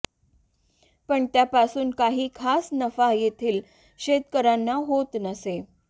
पण त्यापासून काही खास नफा तेथील शेतकऱ्यांना होत नसे